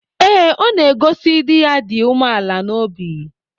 Ee, ọ na-egosi di ya dị umeala n’obi.